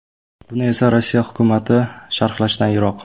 Buni esa Rossiya hukumati sharhlashdan yiroq.